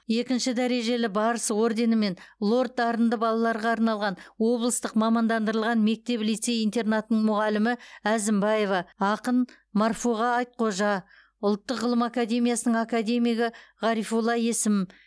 екінші дәрежелі барыс орденімен лорд дарынды балаларға арналған облыстық мамандандырылған мектеп лицей интернатының мұғалімі әзімбаева ақын марфуға айтхожа ұлттық ғылым академиясының академигі ғарифолла есім